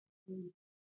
Ɗan'uwan uwa kawu ne.